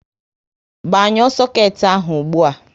Gbanyuo soket ahụ ụgbụa!